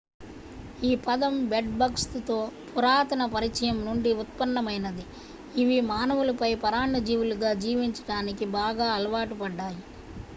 ఈ పదం bed bugs తో పురాతన పరిచయం నుండి ఉత్పన్నమైనది ఇవి మానవులపై పరాన్నజీవులుగా జీవించడానికి బాగా అలవాటు పడ్డాయి